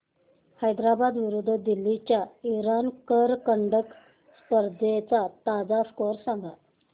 हैदराबाद विरुद्ध दिल्ली च्या इराणी करंडक स्पर्धेचा ताजा स्कोअर सांगा